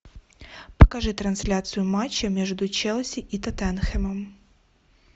покажи трансляцию матча между челси и тоттенхэмом